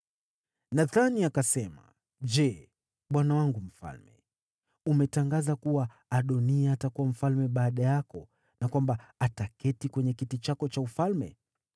Nathani akasema, “Je, bwana wangu mfalme, umetangaza kuwa Adoniya atakuwa mfalme baada yako na kwamba ataketi kwenye kiti chako cha ufalme?